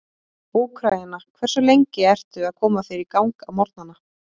Úkraína Hversu lengi ertu að koma þér í gang á morgnanna?